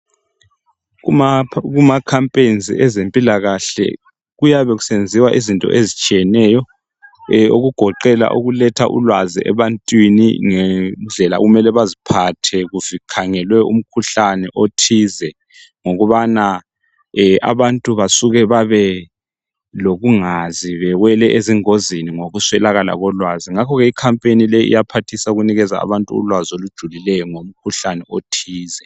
Kumikhankaso yezempilakahle kuyenziwa izinto ezitshiyeneyo okugoqela ukuletha ulwazi ebantwini langendlels okumele beziphathe kukhangelwe umkhuhlane othize ngokubana abantu abasuke bebelolungazi besuke bewele ezingozini ngokuswelakala kolwazi ngakho ke imikhankaso le iyaphathise ekunikeni abantu ulwazi olujulileyo ngomkhuhlane othize